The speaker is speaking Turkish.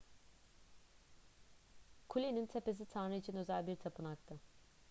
kulenin tepesi tanrı için özel bir tapınaktı